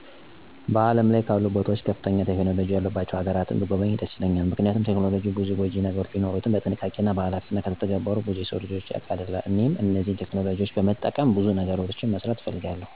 በዓለም ላይ ካሉ ቦታዎች ከፍተኛ ቴክኖሎጂ ያሉባቸው ሀገራትን ብጐበኝ ደስ ይለኛል። ምክንያቱም ቴክኖሎጂ ብዙ ጐጂ ነገሮች ቢኖሩትም በጥንቃቄና በኃላፊነት ከተተገበሩ ብዙ የሰው ልጅ ችግሮችን ያቀላሉ። እኔም እነዚህን ቴክኖሎጂዎች በመጠቀም ብዙ ነገሮችን መስራት እፈልጋለሁ።